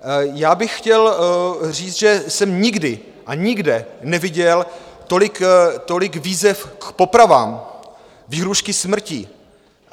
Já bych chtěl říct, že jsem nikdy a nikde neviděl tolik výzev k popravám, výhrůžky smrtí.